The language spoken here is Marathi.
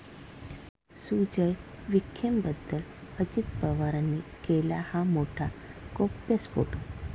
सुजय विखेंबद्दल अजित पवारांनी केला हा मोठा गौप्यस्फोट!